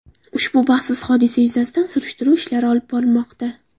Ushbu baxtsiz hodisa yuzasidan surishtiruv ishlari olib borilmoqda.